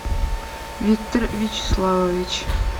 виктор вячеславович